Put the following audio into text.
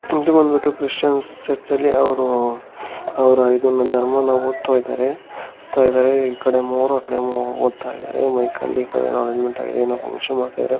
ಇದು ಬಂದ್ಬಿಟ್ಟು ಕ್ರೈಸ್ತನ ಚರ್ಚಲ್ಲಿ ಅವರು ಅವರ ಇದನ್ನಾ ಧರ್ಮವನ್ನಓದ್ತಾಯಿದಾರೆ. ಓದ್ತಾಯಿದರೆ ಈ ಕಡೆ ಮೂರೂ ಆಕಡೆ ಮೂರೂ ಓದ್ತಾಯಿದಾರೆ. ಮೈಕಲ್ಲಿ ಈಕಡೆ ಏನೋ ಈ ಕಡೆ ಅರೆಂಜ್ಮೆಂಟ್ ಆಗಿದೆ. ಏನೋ ಫ್ಹಂಕ್ಷನ್ ಮಾಡ್ತಿದಾರೆ.